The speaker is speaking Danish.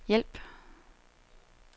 hjælp